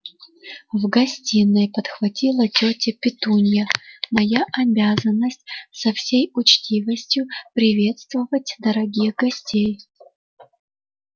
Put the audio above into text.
в гостиной подхватила тётя петунья моя обязанность со всей учтивостью приветствовать дорогих гостей